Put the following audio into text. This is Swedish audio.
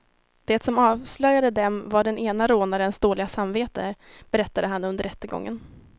Det som avslöjade dem var den ene rånarens dåliga samvete, berättade han under rättegången.